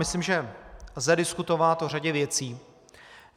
Myslím, že lze diskutovat o řadě věcí.